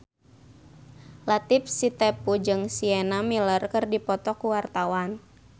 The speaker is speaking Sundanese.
Latief Sitepu jeung Sienna Miller keur dipoto ku wartawan